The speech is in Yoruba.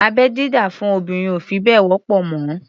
Abẹ́-dídá fún obìnrin ò fi bẹ́ẹ̀ wọ́pọ̀ mọ́.